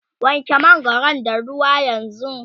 wanke mangwaron da ruwa yanzunga!